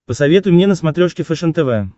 посоветуй мне на смотрешке фэшен тв